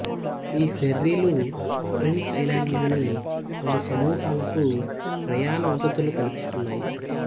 ఈ ఫెర్రీలు prince island లోని పలు సమూహాలకు ప్రయాన వసతులు కల్పిస్తున్నాయి